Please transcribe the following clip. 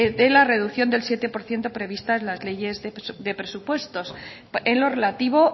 la reducción del siete por ciento prevista en las leyes de presupuestos en lo relativo